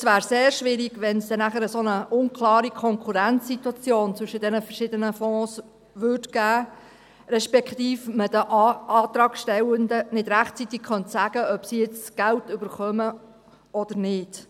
Und es wäre sehr schwierig, wenn es nachher so eine unklare Konkurrenzsituation zwischen diesen verschiedenen Fonds gäbe, respektive man den Antragsstellenden nicht rechtzeitig sagen könnte, ob sie jetzt Geld erhalten oder nicht.